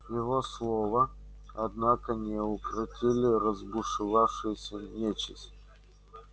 его слова однако не укротили разбушевавшуюся нечисть